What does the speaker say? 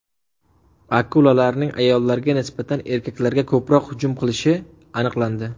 Akulalarning ayollarga nisbatan erkaklarga ko‘proq hujum qilishi aniqlandi.